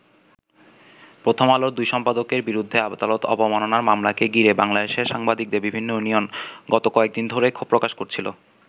প্রথম আলোর দুই সম্পাদকের বিরুদ্ধে আদালত অবমাননার মামলাকে ঘিরে বাংলাদেশের সাংবাদিকদের বিভিন্ন ইউনিয়ন গত কয়েকদিন ধরেই ক্ষোভ প্রকাশ করছিল।